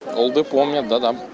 олды помнят да-да